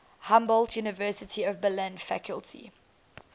humboldt university of berlin faculty